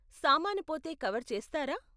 సామాను పోతే కవర్ చేస్తారా?